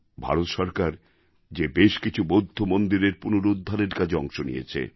ভারত সরকার যে বেশ কিছু বৌদ্ধ মন্দিরের পুনরুদ্ধারের কাজে অংশ নিয়েছে